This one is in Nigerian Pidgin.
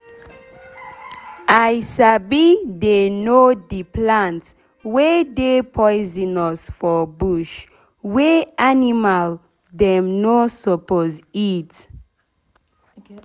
i sabi dey know d plant wey dey poisonous for bush wey animal dem nor suppose eat.